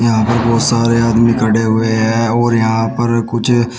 यहां पर बहुत सारे आदमी खड़े हुए हैं और यहां पर कुछ--